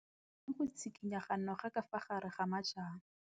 O bone go tshikinya ga noga ka fa gare ga majang.